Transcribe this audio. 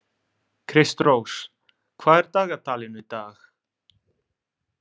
Kristrós, hvað er á dagatalinu í dag?